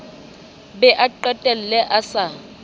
be a qetelle a sa